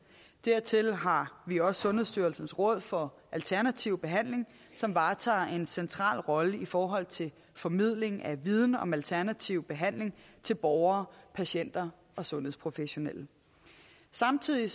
dertil har vi også sundhedsstyrelsens råd for alternativ behandling som varetager en central rolle i forhold til formidling af viden om alternativ behandling til borgere patienter og sundhedsprofessionelle samtidig